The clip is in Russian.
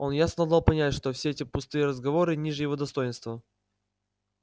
он ясно дал понять что все эти пустые разговоры ниже его достоинства